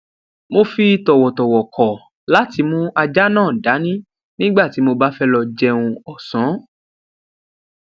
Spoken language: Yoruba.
mo fi tòwòtòwò kò láti mú ajá náà dání nígbà tí mo bá fé lọ jẹun òsán